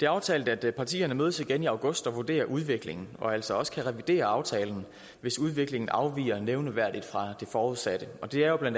aftalt at partierne mødes igen i august og vurderer udviklingen og altså også kan revidere aftalen hvis udviklingen afviger nævneværdigt fra det forudsatte og det er jo bla